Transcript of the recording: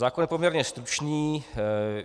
Zákon je poměrně stručný.